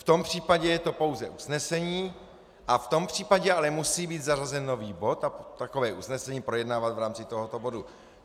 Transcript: V tom případě je to pouze usnesení a v tom případě ale musí být zařazen nový bod a takové usnesení projednávat v rámci tohoto bodu.